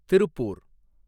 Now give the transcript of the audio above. Tiruppur